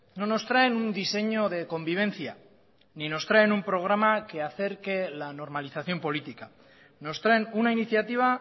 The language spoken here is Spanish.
no nos traen un diseño de convivencia ni nos traen un programa que acerque la normalización política nos traen una iniciativa